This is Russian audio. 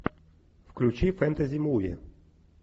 включи фэнтези муви